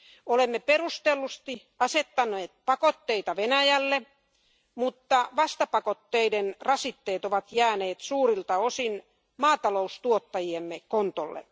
Olemme perustellusti asettaneet pakotteita Venäjälle, mutta vastapakotteiden rasitteet ovat jääneet suurilta osin maataloustuottajiemme kontolle.